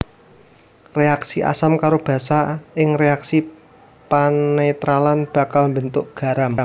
Réaksi asam karo basa ing réaksi panetralan bakal mbentuk garam